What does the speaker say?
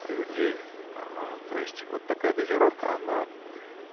людей а то есть вот такая дозировка она